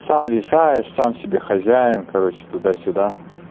сам решаешь сам себе хозяин короче туда-сюда